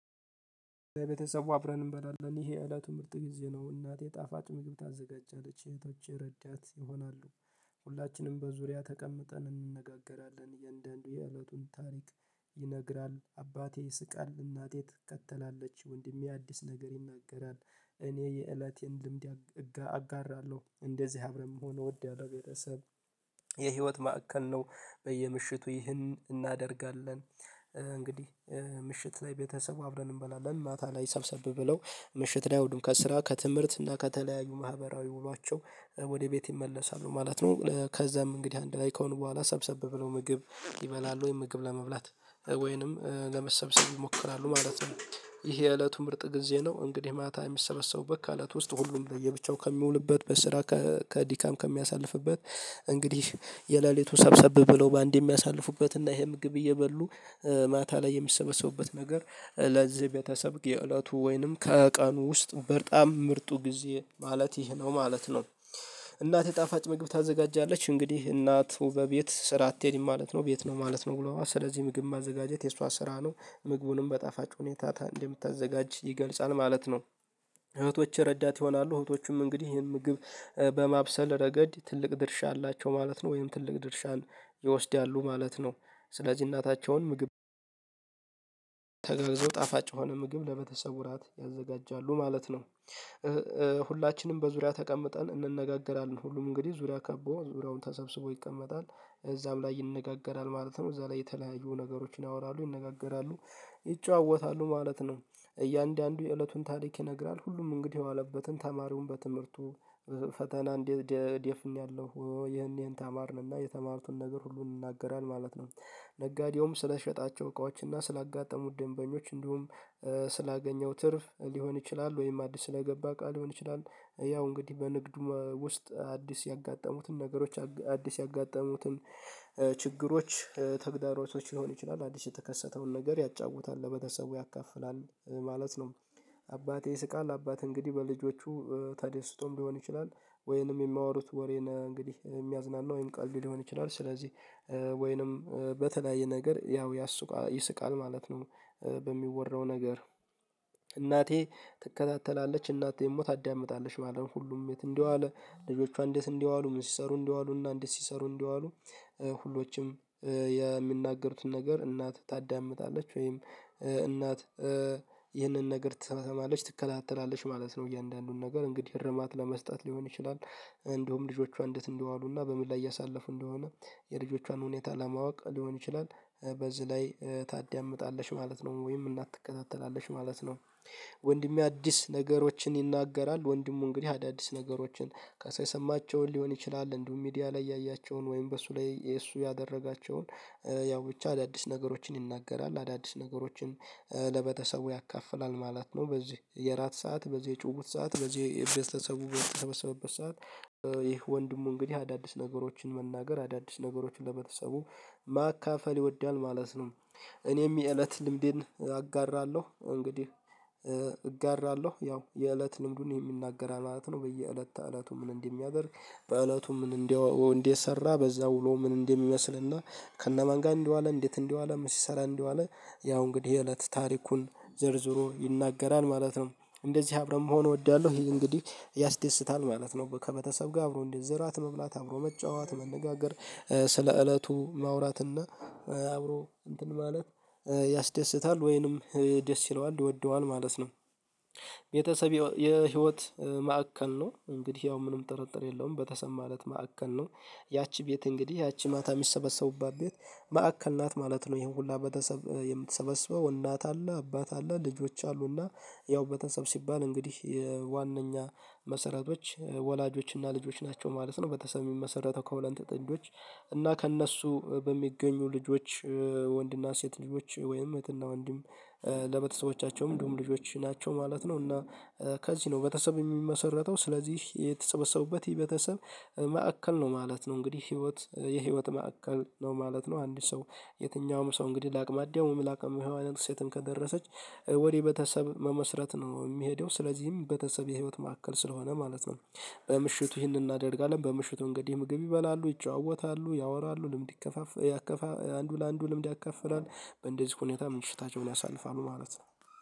ቤተሰቡ አብረን እንበላለን ይሄ እለቱ ምርጥ ጊዜ ነው እናት የጣፋጭ ምግብ ታዘጋጃለች እህቶቼ ረዳት ይሆናሉ። ሁላችንም በዙሪያ ተቀምጠን እንነጋገራለን የእንደ እንደ የእለቱን ታሪክ ይነግራል አባቴ ይስቃል እናቴ ትከተላለች ወንድሜ አዲስ ነገር ይናገራል። እኔ የእለቴን ልምድ አጋራለሁ እንደዚህ አብረን መሆን እወዳለው በቤተሰብ የህይወት ማዕከል ነው። በየምሽቱ ይህን እናደርጋለን። እንግዲህ ምሽት ላይ ቤተሰቡ አብረን እንበላለን ማታ ላይ ሰብሰብ ብለው ምሽት ላይ ሁሉም ከስራ ከትምህርት እና ከተለያዩ ማህበራዊ ውሏቸው ወደ ቤት ይመለሳሉ ማለት ነው። ከዛም እንግዲህ አንድ ላይ ከሆነ በኋላ ሰብሰብ ብለው ምግብ ይበላል ወይም ምግብ ለመብላት ወይንም ለመሰብሰብ ይሞክራሉ ማለት ነው። ይሄ የእለቱ ምርጥ ጊዜ ነው። እንግዲህ ማታ የሚሰበሰቡበት ከእለት ውስጥ ሁሉም ለያብቻው ከሚውልበት በስራ ከዲካም ከሚያሳልፍበት እንግዲህ የሌሊቱን ሰብሰብ ብለው በአንዴ የሚያሳልፉበት እና ይሄ ምግብ እየበሉ ማታ ላይ የሚሰበሰቡበት ነገር ለዝህ ቤተሰብ የእለቱ ወይንም ከቀኑ ውስጥ በጣም ምርጡ ጊዜ ማለት ይሄ ነው ማለት ነው። እናት ጣፋጭ ምግብ ታዘጋጃለች እንግዲህ እናት በቤት ስራ አትሄድም ማለት ነው ቤት ነው ማለት ነው ውሎዋ ስለዚህ ምግብ ማዘጋጀት የእሷ ስራ ነው ምግቡንም በጣፋጭ ሁኔታ እንደምታዘጋጅ ይገልጻል ማለት ነው። እህቶች ረዳት ይሆናሉ እህቶቹም እንግዲህ ይህን ምግብ በማብሰል ረገድ ትልቅ ድርሻ አላቸው ማለት ነው ወይም ትልቅ ድርሻን ይወስዳሉ ማለት ነው። ስለዚህ እናታቸውን ምግብ ተገግዘው ጣፋጭ የሆነ ምግብ ለቤተሰቡ ራት ያዘጋጃሉ ማለት ነው። ሁላችንም በዙሪያ ተቀምጠን እንነጋገራለን ሁሉም እንግዲህ ዙሪያ ከቦ ዙሪያውን ተሰብስቦ ይቀመጣል እዛም ላይ ይነጋገራል ማለት ነው እዛ ላይ የተለያየ ነገሮችን ያወራሉ ይነጋገራሉ ይጫወታሉ ማለት ነው። እያንዳንዱ የእለቱን ታሪክ ይነግራል ሁሉም እንግዲህ የዋለበትን ተማሪውን በትምህርቱ ፈተና እንዴት ደፍኜያለሁ ይሄን ይሄን ተማርንና የተማርን ነገር ሁሉን ይናገራለን ማለት ነው። ነጋዴውም ስለሸጣቸው እቃዎችና ስላጋጠሙት ደንበኞች እንዲሁም ስላገኘው ትርፍ ሊሆን ይችላል ወይም አዲስ ስለገባ ቃል ሊሆን ይችላል። ያው እንግዲህ በንግዱ ውስጥ አዲስ ያጋጠሙትን ነገሮች አዲስ ያጋጠሙትን ችግሮች ተግዳሮቶች ሊሆኑ ይችላሉ አዲስ የተከሰተውን ነገር ያጫውታል ለቤተሰቡ ያካፍላል ማለት ነው። አባቴ ይስቃል አባት እንግዲህ በልጆቹ ተደስቶም ሊሆን ይችላል ወይንም የማያወሩት ወሬን እንግዲህ የሚያዝናና ወይም ቀልድ ሊሆን ይችላል ስለዚህ ወይንም በተለያየ ነገር ያው ያሱቃል ይስቃል ማለት ነው። በሚወራው ነገር እናቴ ትከታተላለች እናቴ ደግሞ ታዳምጣለች ማለት ነው ሁሉም የት እንዲዋል ልጆቿ እንዴት እንደዋሉ ምን ሲሰሩ እንዲዋሉ እና እንዴት ሲሰሩ እንደዋሉ ሁሎችም የምናገሩትን ነገር እናት ታዳምጣለች ወይም እናት ይህንን ነገር ትሰማለች ትከላተላለች ማለት ነው። እያንዳንዱን ነገር እንግዲህ እርማት ለመስጠት ሊሆን ይችላል እንደውም ልጆቿ እንዴት እንደዋሉና በምን ላይ እያሳለፉ እንደሆነ የልጆቿን ሁኔታ ለማወቅ ሊሆን ይችላል በዚህ ላይ ታዳምጣለሽ ማለት ነው ወይም እናት ትከታተላለች ማለት ነው። ወንድሜ አዲስ ነገሮችን ይናገራል ወንድሙ እንግዲህ አዳዲስ ነገሮችን ካሳማቸውን ሊሆን ይችላል እንዲሁም ሚዲያ ላይ ያያቸውን ወይም በእሱ ላይ እሱ ያደረጋቸውን ያው ብቻ አዳዲስ ነገሮችን ይናገራል አዳዲስ ነገሮችን ለቤተሰቡ ያካፍላል ማለት ነው። በዚህ የእራት ሰዓት በዚህ የጭውውት ሰዓት በዚህ የቤተሰቡ በተሰበበት ሰዓት ይህ ወንድሙ እንግዲህ አዳዲስ ነገሮችን መናገር አዳዲስ ነገሮችን ለቤተሰቡ ማካፈል ይወዳል ማለት ነው። እኔም የእለት ልምዴን አጋራለሁ እንግዲህ እጋራለሁ ያው የእለት ልምዱን የሚናገር ማለት ነው በየእለት እለቱ ምን እንደሚያደርግ በእለቱ ምን እንደው እንዴት ሰራ በዛው ውሎ ምን እንደሚመስልና ከነማን ጋር እንደዋለ እንዴት እንዲዋለ ምን ሲሰራ እንዲዋለ ያው እንግዲህ የእለት ታሪኩን ዘርዝሮ ይናገራል ማለት ነው። እንደዚህ አብረን መሆን እወዳለሁ ይሄ እንግዲህ ያስደስታል ማለት ነው ከቤተሰብ ጋር አብሮ እንዲዝ እራት መብላት አብሮ መጫወት መነጋገር ስለ እለቱ ማውራት እና አብሮ እንትን ማለት ያስደስታል ወይንም ደስ ይለዋል ይወደዋል ማለት ነው። ቤተሰብ የህይወት ማዕከል ነው እንግዲህ ያው ምንም ጥርጥር የለውም ቤተሰብ ማለት ማዕከል ነው። ያቺ ቤት እንግዲህ ያቺ ማታ የሚሰበሰቡባት ቤት ማዕከል ናት ማለት ነው ይሄን ሁሉ ቤተሰበ የምትሰበስበው እናት አለ አባት አለ ልጆች አሉና ያው ቤተሰብ ሲባል እንግዲህ ዋናኛ መሰረቶች ወላጆችና ልጆች ናቸው ማለት ነው። ቤተሰብ ምመሰረተው ከሁለንተ ጥንዶች እና ከእነሱ በሚገኙ ልጆች ወንድና ሴት ልጆች ወይም እህትና ወንድም ለቤተሰቦቻቸው እንድሁም ልጆች ናቸው ማለት ነው። እና ከዚህ ነው ቤተሰብ የሚመሰረተው ስለዚህ የተሰበሰቡበት የቤተሰብ መዕከል ነው ማለት ነው እንግዲህ ህይወት የህይወት መዕከል ነው ማለት ነው። አንድ ሰው የትኛውም ሰው እንግዲህ ላአቅማ አዳም ወይም ለአቅመ ሄዋን ሴትም ከደረሰች ወደ ቤተሰብ መመስረት ነው የሚሄደው ስለዚህም ቤተሰብ የህይወት መዕከል ስለሆነ ማለት ነው። በምሽቱ ይህንን እናደርጋለን በምሽቱ እንግዲህ ምግብ ይበላሉ ይጫወታሉ ያወራሉ ልምድ ይከፋፈላሉ ያከፋ አንዱ ለአንዱ ልምድ ያካፍራል በእንደዚህ ሁኔታ ምሽታቸውን ያሳልፋሉ ማለት ነው።